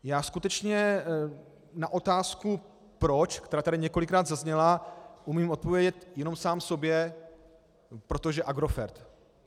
Já skutečně na otázku proč, která tady několikrát zazněla, umím odpovědět jenom sám sobě - protože Agrofert.